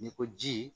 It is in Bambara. N'i ko ji